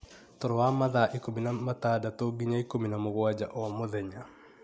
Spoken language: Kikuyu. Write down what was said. toro wa mathaa ikũmi na ĩtadatũ nginya ikũmi na mũgwanja o mũthenya.